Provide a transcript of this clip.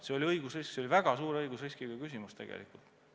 See oli õigusrisk, see oli väga suure õigusriskiga samm tegelikult.